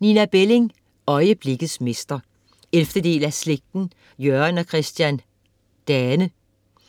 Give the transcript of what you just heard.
Belling, Nina: Øjeblikkets mester 11. del af Slægten. Jørgen og Christian Dane,